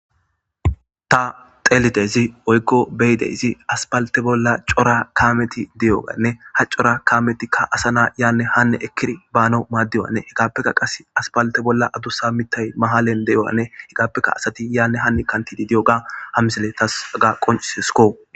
ta telidezi oykko beyideyzi aspalte bolla cora kaameti di7oganne ha cora kaametikka asa na yaanne hanne ekkiri baano maaddiwanne hegaappekka qas aspalte bolla adusa mitay mahalen de7oyanne hegaappekka asati yaanne hanni kantidi diy7oga hamisile tas aga qoncisesiko